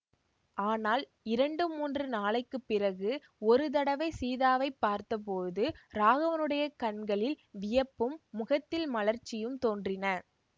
ஆனால் இரண்டு மூன்று நாளைக்கு பிறகு ஒரு தடவை சீதாவை பார்த்தபோது ராகவனுடைய கண்களில் வியப்பும் முகத்தில் மலர்ச்சியும் தோன்றின